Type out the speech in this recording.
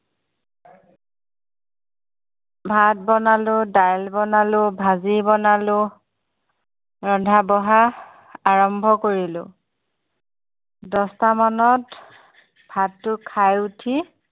ভাত বনালোঁ দাইল বনালোঁ ভাজি বনালোঁ ৰন্ধা-বঢ়া আৰম্ভ কৰিলো দচটা মানত ভাতটো খাই উঠি